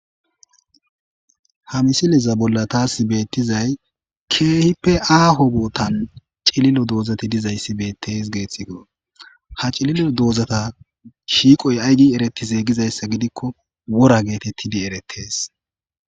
Ha missileza bolla tas bethizay kehippe aho bothan cilillo dozathi dizayssi bethes gessikko. Ha cilillo dozatha shiqoy ayigi erethize gizayssa gidikko wora gethethidi erthes.